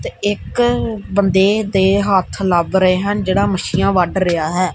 ਤੇ ਇੱਕ ਬੰਦੇ ਦੇ ਹੱਥ ਲੱਗ ਰਹੇ ਹਨ ਜਿਹੜਾ ਮੱਛੀਆਂ ਵੱਢ ਰਿਹਾ ਹੈ।